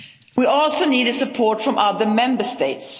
We also need the support from the Member